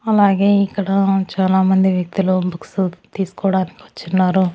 అలాగే ఇక్కడ చాలామంది వ్యక్తులు బుక్సు తీస్కోవడానికి వచ్చున్నారు.